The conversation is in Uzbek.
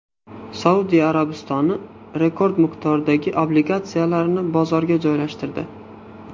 Saudiya Arabistoni rekord miqdordagi obligatsiyalarni bozorga joylashtirdi.